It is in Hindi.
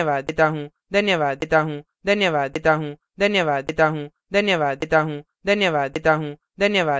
यह स्क्रिप्ट प्रभाकर द्वारा अनुवादित है मैं यश वोरा अब आपसे विदा लेता हूँ